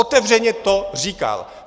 Otevřeně to říkal.